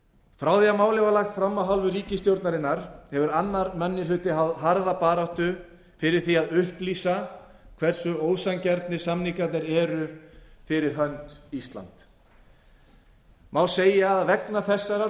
frá því að málið var lagt fram af hálfu ríkisstjórnarinnar hefur annar minni hluti háð harða barátta fyrir því að upplýsa hversu ósanngjarnir samningarnir eru fyrir hönd íslands má segja að vegna þessarar